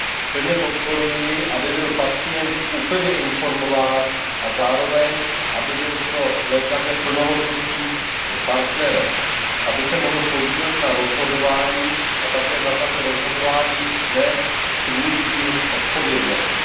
Plně podporuji, aby byl pacient úplně informován a zároveň aby byl pro lékaře plnohodnotným partnerem a aby se mohl podílet na rozhodování a také za tato rozhodování nést svůj díl odpovědnosti.